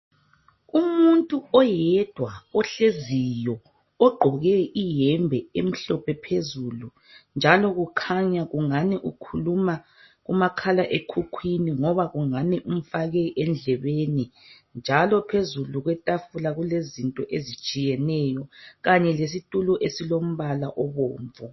Umuntu oyedwa ohleziyo ogqoke iyembe emhlophe phezulu njalo ukhanya ungani ukhuluma kumakhala ekhukhwini loba kungani umfake endlebeni. Phezulu kwetafula kulezinto ezitshiyeneyo kanye lesitulo esilombala obomvu.